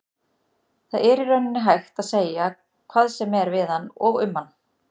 Það er í rauninni hægt að segja hvað sem er við hann og um hann.